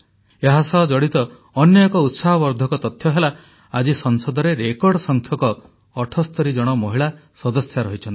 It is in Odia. ଏହାସହ ଜଡ଼ିତ ଅନ୍ୟ ଏକ ଉତ୍ସାହବର୍ଦ୍ଧକ ତଥ୍ୟ ହେଲା ଆଜି ସଂସଦରେ ରେକର୍ଡ ସଂଖ୍ୟକ 78 ଜଣ ମହିଳା ସଦସ୍ୟା ଅଛନ୍ତି